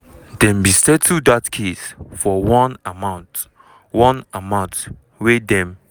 dem bin settle dat case for one amount one amount wey dem